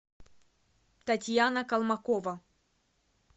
татьяна колмакова